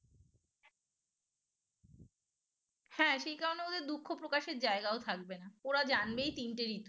হ্যাঁ সেই কারণে ওদের দুঃখ প্রকাশের জায়গাও থাকবে না ওরা জানবেই তিনটে ঋতু